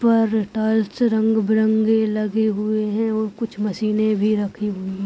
पर रंगबिरंगी लगी हुई है और कुछ मशीने भी रखी हुई।